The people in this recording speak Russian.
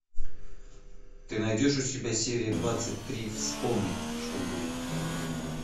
ты найдешь у себя серия двадцать три вспомни что будет